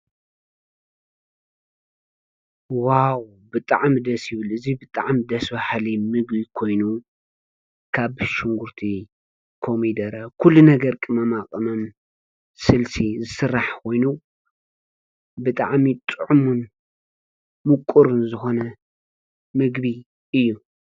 ዋው ብጥዕም ደሲብል እዙይ ብጥዓም ደሥቢሓል ምግቢ ኮይኑን ካብ ብሹንጕርቲ ኮሚደረ ዂሉ ነገር ቅመማቐመም ስልሲ ዝሥራሕ ወይኑ ብጥዓሚ ጥዑሙን ምቁርን ዝኾነ ምግቢ እዩ።